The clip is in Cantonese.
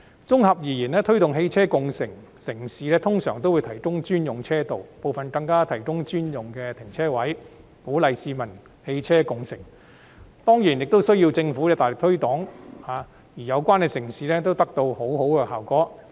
綜合而言，推動汽車共乘的城市通常會提供專用車道，部分更提供專用停車位，以鼓勵市民共乘汽車，當然亦需要政府的大力推廣宣傳，而有關城市均取得良好效果。